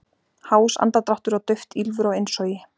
Hás andardráttur og dauft ýlfur á innsogi.